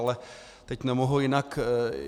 Ale teď nemohu jinak.